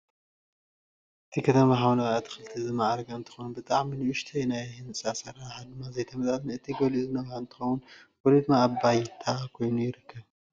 እቲ ከተማ ብሓምለዋይ ኣትክልቲ ዝማዕረገን እንትኸውን ብጣዕሚ ንኡሽተይን ናይቲ ህንፃ ኣሰራርሓ ድማ ዘይተመጣጠነን እቲ ገሊኡ ዝነውሐ እንትኸውን ገሊኡ ድማ ኣብ ባይተ ኮይኑ ይርከብ፡፡